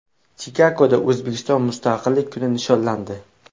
Chikagoda O‘zbekiston Mustaqillik kuni nishonlandi.